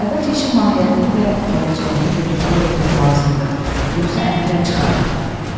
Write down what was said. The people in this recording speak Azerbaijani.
Əvvəlcə işin mahiyyətini və gələcəyini götür-qoy etmək lazımdır, yoxsa əngəl çıxar.